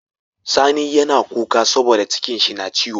Sani yAna kuka saboda cikin shi na ciwo